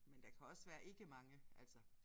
Men der kan også være ikke mange altså